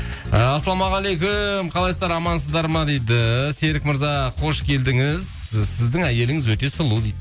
і ассалаумағалейкум қалайсыздар амансыздар ма дейді серік мырза қош келдіңіз сіздің әйеліңіз өте сұлу дейді